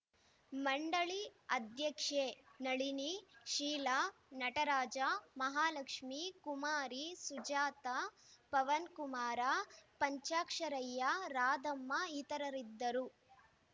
ಮಂಡಳಿ ಅಧ್ಯಕ್ಷೆ ನಳಿನಿ ಶೀಲಾ ನಟರಾಜ ಮಹಾಲಕ್ಷ್ಮೀ ಕುಮಾರಿ ಸುಜಾತ ಪವನಕುಮಾರ ಪಂಚಾಕ್ಷರಯ್ಯ ರಾಧಮ್ಮ ಇತರರಿದ್ದರು